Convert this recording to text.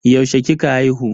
Yaushe kika haihu?